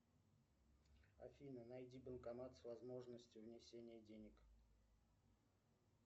афина найди банкомат с возможностью внесения денег